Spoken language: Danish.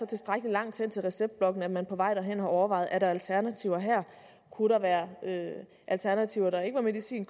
tilstrækkelig langt hen til receptblokken til at man på vej derhen har overvejet om der er alternativer kunne der være alternativer der ikke var medicin